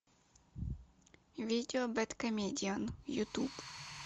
видео бэд комедиан ютуб